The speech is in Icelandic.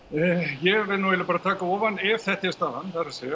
ég verð nú eiginlega bara að taka ofan ef þetta er staðan það er